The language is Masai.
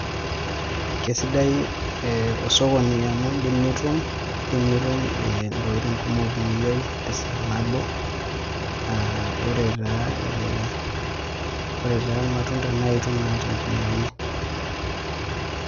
Kesidai osokoni amu idim nitum intokiting kumok niyieu tesaa nabo, ore taa irmatunda naa itum naa tenkumoyu.